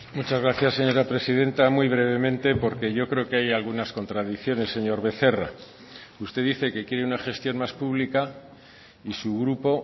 muchas gracias señora presidenta muy brevemente porque yo creo que hay algunas contradicciones señor becerra usted dice que quiere una gestión más pública y su grupo